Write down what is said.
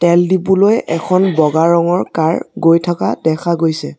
তেল ডিপো লৈ এখন বগা ৰঙৰ কাৰ গৈ থকা দেখা গৈছে।